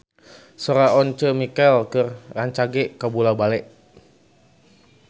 Sora Once Mekel rancage kabula-bale